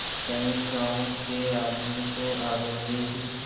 कई गाँव के आदमी तो आवेंगे ही